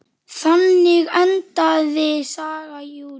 Þannig endaði saga Júlíu.